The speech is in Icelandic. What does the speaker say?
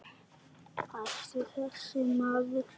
Hættu þessu maður!